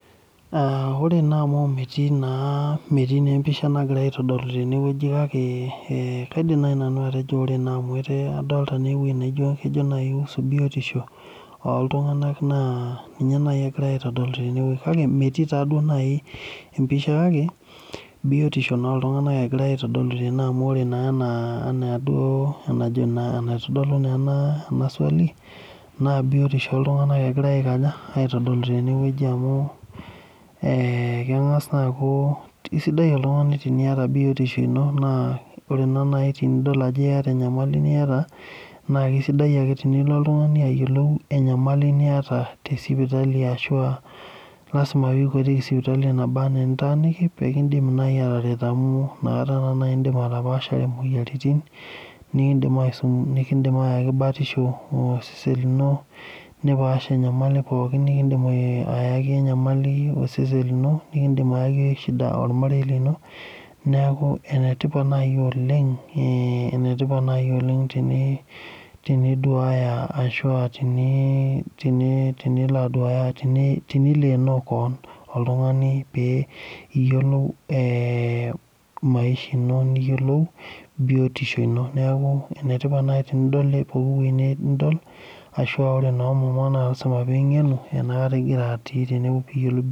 Aaa ore naa amu metii empisha nagirai aitodolu tene kake kaidim naaji nanu atejo adolita entoki naa kejo naaji ausu biotisho ooltung'anak naa ninye naani egirai aitodolu tenewueji kake metii taaduo naaji empisha kake biotisho naa ooltung'anak egirai aitodolu tene amu ore naa enaa enaitodolu naa ena swali naa biotisho ooltung'anak egirai aikaja aitodolu tenewueji amu keng'as naa akuu keisidai oltung'ani teniiata biotisho ino naa ore naaji tenidol enyamali niata naa keisaidia ake tenilo oltung'ani ayiolou enyamali niata tesipitali ashuua lasima peikuetiki sipitali enabaanaa enitaaniki peekindip naaji ataret amu inakata naaji indiip atapaashare imoyiaritin nikindim aayaki batisho osesen lino nipaash enyamali pookin nikindim ayaki enyamali osesen lino nikindim ayaki shida ormarei lino neeku enetipat naaji oleng teniduaaya ashua tenilo aduaya tenileeno kewon oltung'ani pee iyiolou ee maisha ino niyiolou biotisho ino neeku enetipat naaji tenidol ashua ore muma naa lasima peing'enu enakata ingiratii peiyiolu biotisho